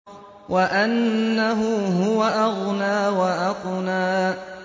وَأَنَّهُ هُوَ أَغْنَىٰ وَأَقْنَىٰ